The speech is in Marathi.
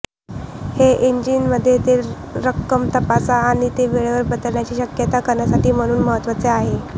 हे इंजिन मध्ये तेल रक्कम तपासा आणि ते वेळेवर बदलण्याची शक्यता करण्यासाठी म्हणून महत्वाचे आहे